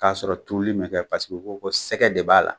K'a sɔrɔ turuli ma kɛ paseke u ko ko sɛgɛ de b'a la.